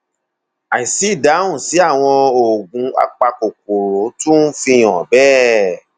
àìsí ìdáhùn sí àwọn oògùn apakòkòrò tún fi hàn bẹẹ